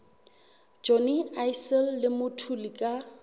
johnny issel le mthuli ka